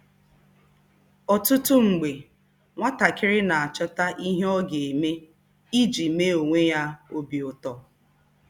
Ọtụtụ mgbe, nwatakịrị na-achọta ihe ọ ga-eme iji mee onwe ya obi ụtọ.